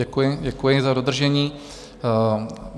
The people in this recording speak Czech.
Děkuji, děkuji za dodržení.